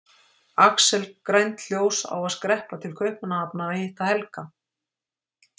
Axel grænt ljós á að skreppa til Kaupmannahafnar að hitta Helga.